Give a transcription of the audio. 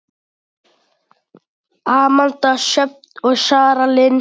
Amanda Sjöfn og Sara Lind.